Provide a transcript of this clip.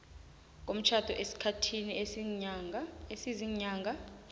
komtjhado esikhathini esiziinyanga